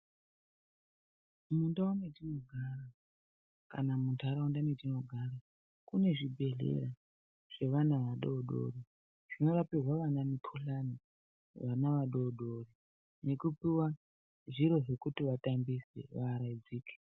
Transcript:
Mundau metinogara kana muntaraunda metinogara, mune zvibhedhlera zvevana vadodori. Zvinorapirwa vana mukuhlani, vana vadodori nekupuva zviro zvekuti vatambise vaaraidzike.